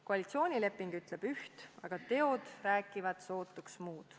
Koalitsioonileping ütleb üht, aga teod räägivad sootuks muud.